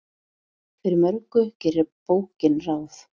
Fyrir mörgu gerir bókin ráð.